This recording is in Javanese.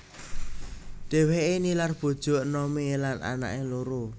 Dhèwèké nilar bojo enomé lan anaké loro